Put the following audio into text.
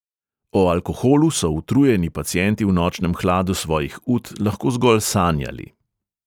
O alkoholu so utrujeni pacienti v nočnem hladu svojih ut lahko zgolj sanjali.